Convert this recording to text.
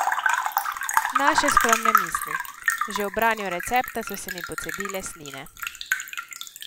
Naše skromne misli: "Že ob branju recepta so se mi pocedile sline.